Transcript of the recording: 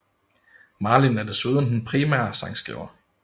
Marlin er desuden den primære sangskriver